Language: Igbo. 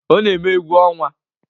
Ọ na-eme egwu ọnwa?